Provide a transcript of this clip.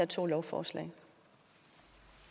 to lovforslag